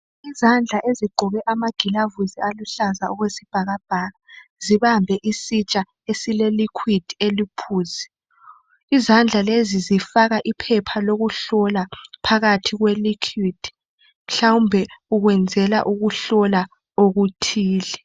Izandla ezigqoke amagilavusi aluhlaza okwesibhakabhaka zibambe isitsha esileliquid eliphuzi. Izandla lezi zifaka iphepha lokuhlola phakathi kweliquid mhlawumbe ukwenzela ukuhlola okuthile.